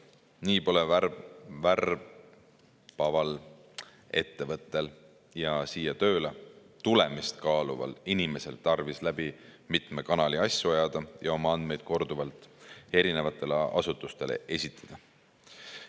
Nii pole värbaval ettevõttel ja siia tööle tulemist kaaluval inimesel tarvis läbi mitme kanali asju ajada ja oma andmeid korduvalt erinevatele asutustele esitada.